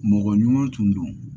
Mɔgɔ ɲuman tun do